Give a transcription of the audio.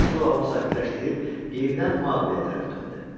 Mesua onu sakitləşdirib yenidən Maqliyə tərəf döndü.